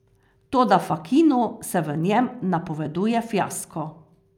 Toda Fakinu se v njem napoveduje fiasko.